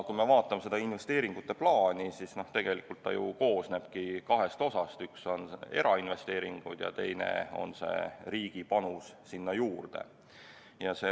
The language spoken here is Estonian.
Kui me vaatame seda investeeringute plaani, siis see ju koosnebki kahest osast: üks on erainvesteeringud ja teine on riigi panus sinna juurde.